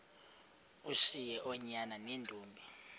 ushiye oonyana neentombi